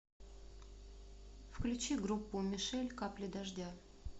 включи группу мишель капли дождя